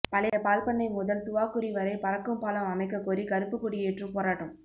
பழைய பால்பண்ணை முதல் துவாக்குடி வரைபறக்கும் பாலம் அமைக்கக் கோரி கறுப்புக் கொடியேற்றும் போராட்டம்